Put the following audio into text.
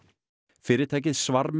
fyrirtækið